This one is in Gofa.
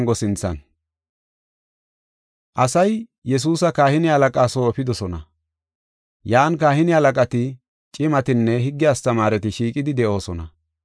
Asay Yesuusa kahine halaqaa soo efidosona. Yan kahine halaqati, cimatinne higge astamaareti shiiqidi de7oosona.